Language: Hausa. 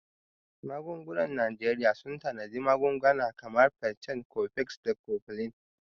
Magungunan Najeriya sun tanadi magunguna kamar Piccan, Cofex, da Cofflin.